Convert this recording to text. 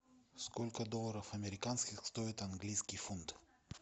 сколько долларов американских стоит английский фунт